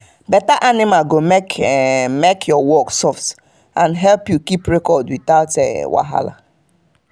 better animal go make make your work soft and help you keep record without wahala.